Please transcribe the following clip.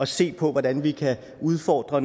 se på hvordan vi kan udfordre